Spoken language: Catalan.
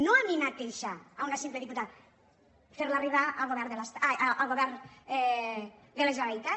no a mi mateixa a una simple diputada fer la arribar al govern de la generalitat